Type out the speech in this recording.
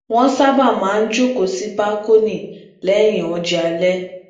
wọn sábà máa ń jókòó si bakoni lẹyìn oúnjẹ alẹ